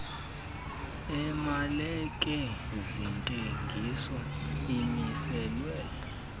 emalike zentengiso amiselwe